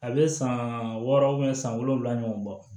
A bɛ san wɔɔrɔ san wolonwula ɲɔgɔn bɔ